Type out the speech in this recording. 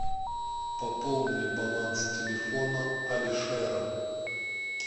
пополни баланс телефона алишера